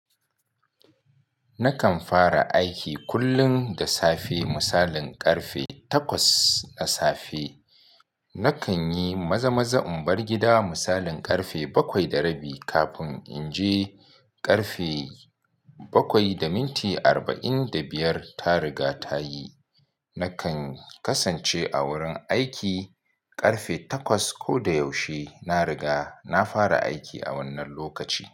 Nakan fara aiki kullum da safe misalin ƙarfe takwas na safe. Nakan yi maza-maza in bar gida misalin ƙarfe bakwai da rabi kafin in je. Ƙarfe bakwai da minti arba'in da biyar ta riga ta yi. Nakan kasance a wurin aiki ƙarfe takwas. Ko da yaushe na riga na fara aiki a wannan lokaci.